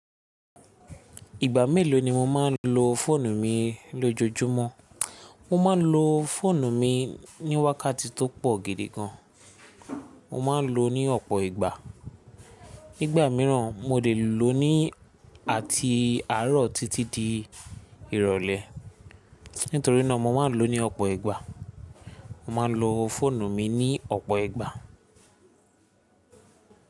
Ìgbà mélòó ni mo máa ń lo fóònù mi lójojúmọ́? Mo máa ń lo fóònù mi ní wákàtí tó pọ̀ gidi gan. Mo ma ń lo ní ọ̀pọ̀ ìgbà. Nígbà mìíràn mo lè lò ó ní àti àárọ̀ títí di ìrọ̀lẹ́. Nítorí náà mo ma ń lò ó ní ọ̀pọ̀ ìgbà. Mo ma ń lo fóònù mi ní ọ̀pọ̀ ìgbà.